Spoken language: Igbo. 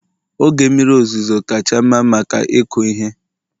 oge mmiri ozuzo kacha mma maka ịkụ ihe